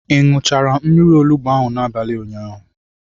Ị ṅụchara mmiri olugbu ahụ n'abalị ụnyaahụ?